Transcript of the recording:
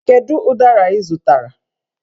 Kedu ụdara ị zụtara?